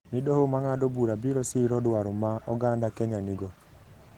ni doho ma ng’ado bura biro siro dwaro ma oganda Kenya nigo.